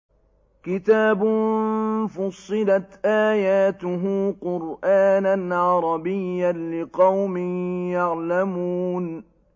كِتَابٌ فُصِّلَتْ آيَاتُهُ قُرْآنًا عَرَبِيًّا لِّقَوْمٍ يَعْلَمُونَ